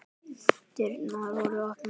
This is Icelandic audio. Dyrnar voru opnar.